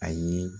A ye